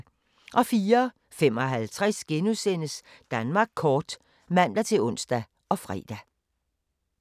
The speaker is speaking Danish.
04:55: Danmark kort *(man-ons og fre)